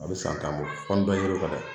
A bɛ san tan bɔ fo ni dɔ yer'o kan dɛ.